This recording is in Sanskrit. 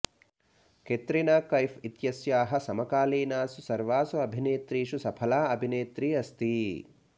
कैटरीना कैफ इत्यस्याः समकालीनासु सर्वासु अभिनेत्रीषु सफला अभिनेत्री अस्ति